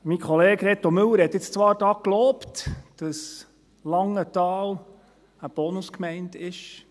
Mein Kollege Reto Müller hat zwar gelobt, dass Langenthal eine Bonus-Gemeinde sei.